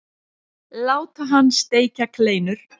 Láta hann steikja kleinur.